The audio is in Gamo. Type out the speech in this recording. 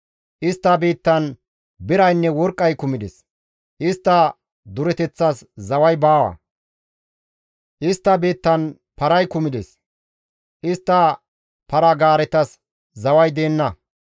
Istta biittan biraynne worqqay kumides; istta dureteththas zaway baawa; istta biittan paray kumides; istta para-gaaretas zaway deenna.